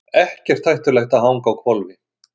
Ekkert hættulegt að hanga á hvolfi